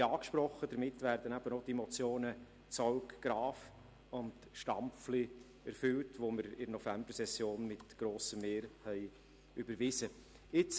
Wie angesprochen, werden damit auch die Motionen ZauggGraf und Stampfli erfüllt, die wir in der Novembersession mit grossem Mehr überwiesen haben.